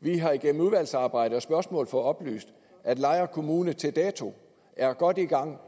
vi har igennem udvalgsarbejde og spørgsmål fået oplyst at lejre kommune til dato er godt i gang